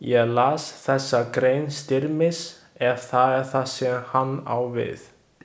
Ég las þessa grein Styrmis, ef það er það sem hann á við.